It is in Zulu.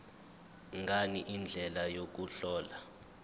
ngani indlela yokuhlola